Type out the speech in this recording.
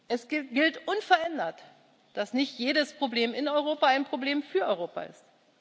muss. Es gilt unverändert, dass nicht jedes Problem in Europa ein Problem für Europa